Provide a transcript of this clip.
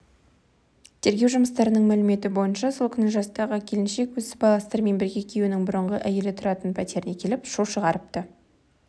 тергеу жұмыстарының мәліметі бойынша сол күні жастағы келіншек өз сыбайластарымен бірге күйеуінің бұрынғы әйелі тұратын пәтеріне келіп шу шығарыпты